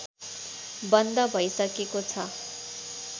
बन्द भैसकेको छ